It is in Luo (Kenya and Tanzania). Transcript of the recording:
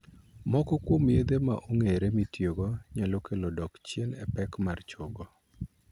Moko kuom yedhe ma ong'ere mitiyogo nyalo kelo dok chien e pek mar chogo.